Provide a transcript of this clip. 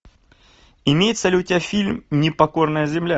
имеется ли у тебя фильм непокорная земля